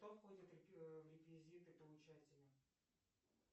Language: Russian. что входит в реквизиты получателя